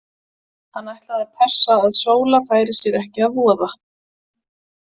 Hann ætlaði að passa að Sóla færi sér ekki að voða.